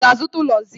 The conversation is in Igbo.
Ị ga-azụta ụlọ zinc?